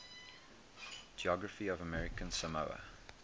geography of american samoa